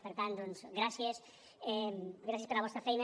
per tant gràcies gràcies per la vostra feina